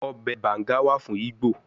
Obe Banga wa fun Igbo